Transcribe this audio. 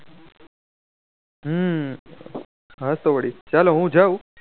હમ હા તો વળી ચાલો હું જાઉં